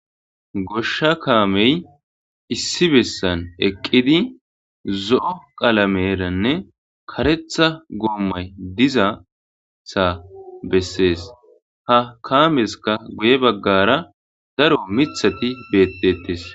goshsha kaamey issi bessan eqqidi zo7o qalameranne karetha goommay dizatha bessees ha kaameska guye baggara daro mithati beettetes